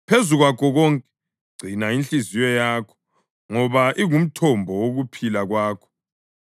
Phezu kwakho konke, gcina inhliziyo yakho, ngoba ingumthombo wokuphila kwakho.